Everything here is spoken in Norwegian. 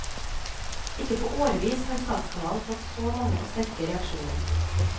Ikke på årevis har statskanalen fått så mange og sterke reaksjoner.